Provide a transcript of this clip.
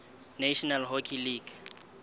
national hockey league